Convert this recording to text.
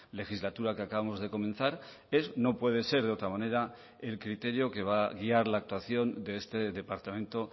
legislatura que acabamos de comenzar es no puede ser de otra manera el criterio que va a guiar la actuación de este departamento